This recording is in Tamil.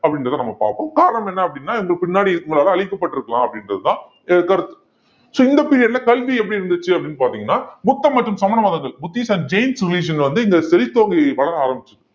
அப்படின்றதை நம்ம பார்ப்போம் காரணம் என்ன அப்படின்னா இவங்க பின்னாடி இவங்களால அழிக்கப்பட்டிருக்கலாம் அப்படின்றதுதான் கருத்து so இந்த period ல கல்வி எப்படி இருந்துச்சு அப்படின்னு பாத்தீங்கன்னா புத்தம் மற்றும் சமண மதங்கள், புத்திஸம் and ஜெயினிஸம் civilization வந்து இந்த செழித்தோங்கி வளர ஆரம்பிச்சது